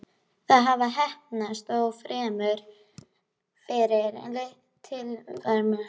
Það hafði heppnast, þó fremur fyrir tilstilli hennar en hans.